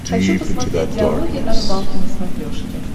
хочу посмотреть диалоги о рыбалке на смотрешке